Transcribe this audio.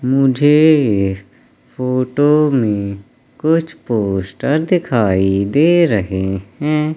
मुझे इस फोटो में कुछ पोस्टर दिखाई दे रहे हैं।